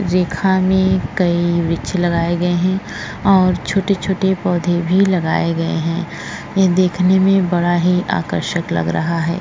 रेखा में कई वृक्ष लगाये गए हैं और छोटे-छोटे पौधे भी लगाये हैं। ये देखने मे बोहोत ही आकर्षक लग रहा है।